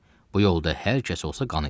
Bu yolda hər kəs olsa qan eləyər.